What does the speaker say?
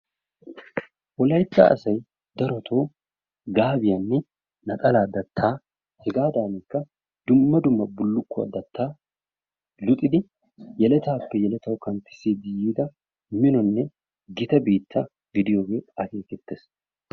Wolaytta asay daroto gaabiyanne naxalaa dattaa hegaadanikka dumma dumma bullukuwaa dattaa luxidi yeletaappe yeletawu kanttisidi yiida minnonene gita biittaa gidiyoge akeeketees.